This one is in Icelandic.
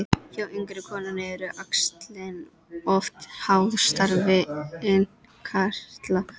Hjá yngri konum eru æxlin oft háð starfi innkirtla.